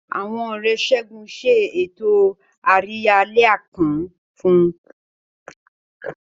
Àwọn Ọ̀rẹ́ Segun ṣe ètò àríyá àlẹ́ àpọ́n fún un.